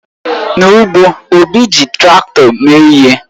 N'ugbo, Obi ji Traktọ mee ihe.